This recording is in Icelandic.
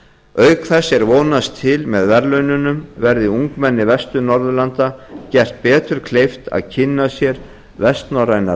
auk þess er vonast til með verðlaununum verði ungmennum vestur norðurlanda gert betur kleift að kynna sér vestnorrænar